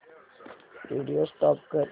video stop कर